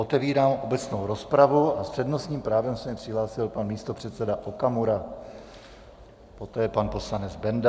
Otevírám obecnou rozpravu a s přednostním právem se mi přihlásil pan místopředseda Okamura, poté pan poslanec Benda.